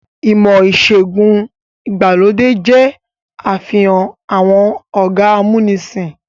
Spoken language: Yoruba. Ìmọ̀-ìṣẹ̀gùn ìgbàlódé jẹ́ àfihàn àwọn ọ̀gá amúnisìn.